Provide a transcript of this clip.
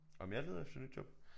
Om jeg leder efter nyt job?